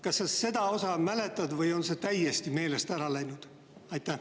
Kas sa seda mäletad või on see täiesti meelest ära läinud?